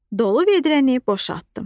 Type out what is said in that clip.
Dolu vedrəni boşaltdım.